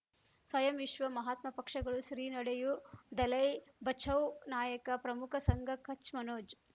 ಸ್ವಯಂ ವಿಶ್ವ ಮಹಾತ್ಮ ಪಕ್ಷಗಳು ಶ್ರೀ ನಡೆಯೂ ದಲೈ ಬಚೌ ನಾಯಕ ಪ್ರಮುಖ ಸಂಘ ಕಚ್ ಮನೋಜ್